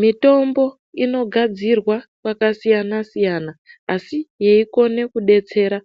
Mitombo inogadzirwa kwakasiyana siyana asi yeikona kudetsera